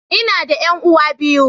Ina da 'yan'uwa biyu.